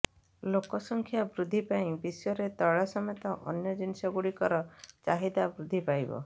ଲୋକସଂଖ୍ୟା ବୃଦ୍ଧି ପାଇଁ ବିଶ୍ବରେ ତୈଳ ସମେତ ଅନ୍ୟ ଜିନିଷଗୁଡ଼ିକର ଚାହିଦା ବୃଦ୍ଧିପାଇବ